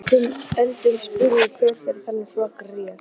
Önundur spurði hver fyrir þeim flokki réði.